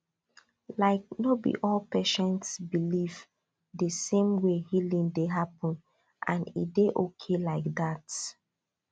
like no be all patients believe the same way healing dey happen and e dey okay like that